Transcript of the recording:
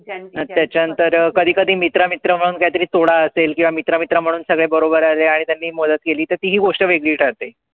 त्याच्यानंतर कधी-कधी मित्र म्हणून काहीतरी असेल किंवा मित्र-मित्र म्हणून सगळे बरोबर आले आणि त्यांनी मदत केली त ती गोष्ट वेगळी ठरते.